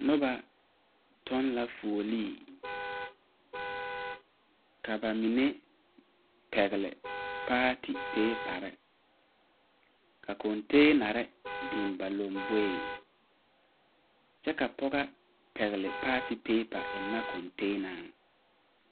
Noba tɔŋ la fuolee ka ba mine pɛgle paati peepa ka kɔnteenarre biŋ ba lamboreŋ kyɛ ka pɔgɔ pɛgle paati peepa eŋnɛ kɔnteenaŋ.